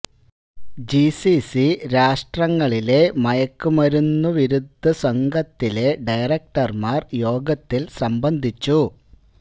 G C C രാഷ്ട്രങ്ങളിലെ മയക്കുമരുന്ന്വിരുദ്ധ സംഘത്തിലെ ഡയറക്ടര്മാര് യോഗത്തില് സംബന്ധിച്ചു